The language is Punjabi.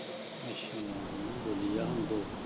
ਅੱਛਾ ਬੋਲੀ ਜਾਣ ਦੋ।